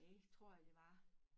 Det tror jeg det var